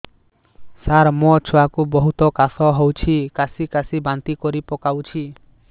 ସାର ମୋ ଛୁଆ କୁ ବହୁତ କାଶ ହଉଛି କାସି କାସି ବାନ୍ତି କରି ପକାଉଛି